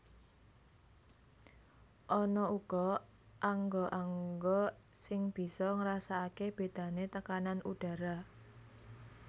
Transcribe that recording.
Ana uga angga angga sing bisa ngrasakaké bédané tekanan udhara